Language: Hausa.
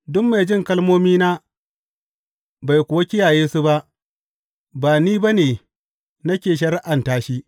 Duk mai jin kalmomina bai kuwa kiyaye su ba, ba ni ba ne nake shari’anta shi.